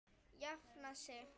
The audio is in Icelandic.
Jafna sig?